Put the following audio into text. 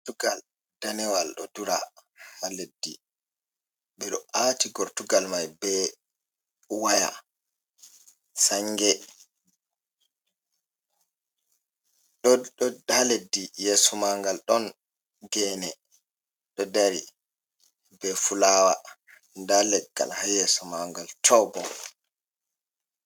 Gortugal danewal ɗo ɗura ha leddi, ɓeɗo aati gortugal mai be waya sange ɗo ɗo ha leddi yeso mangal ɗon gene ɗo dari be fulawa nda leggal ha yeso mangal to be.